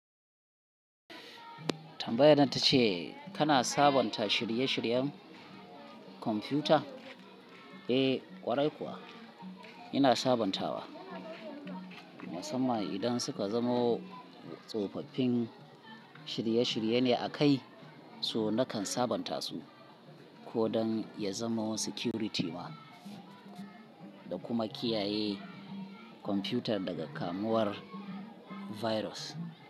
Tambayar nan ta ce tana sabonta shirye-shiryen kwamfuta? Eh kwarai kuwa ina sabantawa, musamman idan suka zamo tsofaffin shirye-shirye ne a kai, so nakan sabanta su, ko don ya zama security ma. Da kuma kiyaye kwamfutar daga kamuwar virus.